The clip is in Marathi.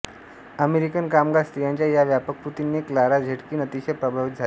अमेरिकन कामगार स्त्रियांच्या या व्यापक कृतीने क्लारा झेटकिन अतिशय प्रभावित झाली